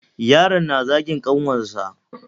Yaron na zagin ƙanwarsa.